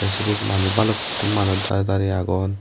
sibet manus balukun manus dareh dareh agon.